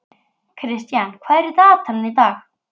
Kristian, hvað er í dagatalinu í dag?